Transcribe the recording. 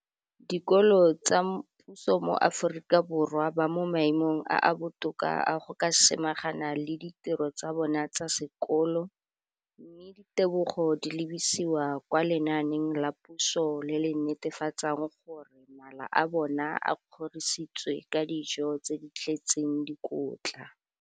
Dikolo tsa puso mo Aforika Borwa ba mo maemong a a botoka a go ka samagana le ditiro tsa bona tsa sekolo, mme ditebogo di lebisiwa kwa lenaaneng la puso le le netefatsang gore mala a bona a kgorisitswe ka dijo tse di tletseng dikotla.